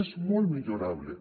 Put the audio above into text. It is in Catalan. és molt millorable